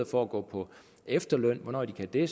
for at gå på efterløn hvornår de kan det